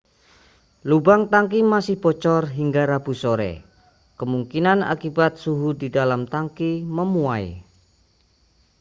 lubang tangki masih bocor hingga rabu sore kemungkinan akibat suhu di dalam tangki memuai